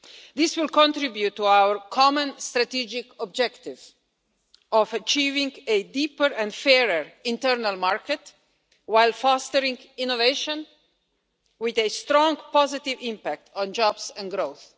This will contribute to our common strategic objective of achieving a deeper and fairer internal market while fostering innovation, with a strong positive impact on jobs and growth.